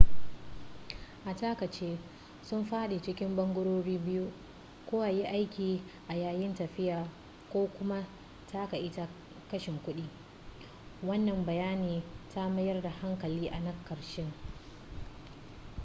a takaice sun faɗi cikin ɓangarori biyu ko a yi aiki a yayin tafiya ko kuma takaita kashe kuɗi wannan bayani ta mayar da hankali a na ƙarshen